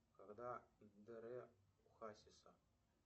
когда др у хасиса